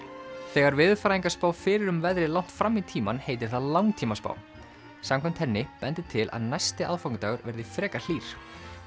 þegar veðurfræðingar spá fyrir um veðrið langt fram í tímann heitir það langtímaspá samkvæmt henni bendir til að næsti aðfangadagur verði frekar hlýr